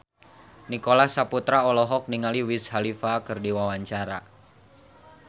Nicholas Saputra olohok ningali Wiz Khalifa keur diwawancara